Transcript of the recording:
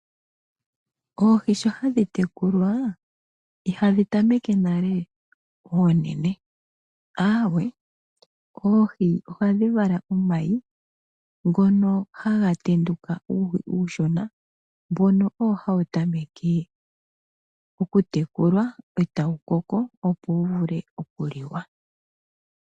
Oohi sho hadhi tekulwa ihadhi tameke nale oonene . Aawe oohi ohadhi vala omayi ngono haga tenduka uuhi uushona. Mbono owo hawu tameke oku tekulwa etawu koko opo wu vule oku liwa.